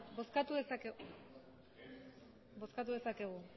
bozkatu dezakegu